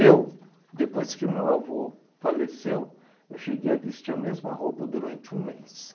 Eu, depois que o meu avô faleceu, eu cheguei a vestir a mesma roupa durante um mês.